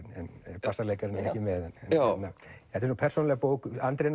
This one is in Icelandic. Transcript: en bassaleikarinn er ekki með þetta er persónuleg bók Andri